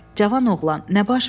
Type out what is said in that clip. Cavan oğlan, nə baş verib?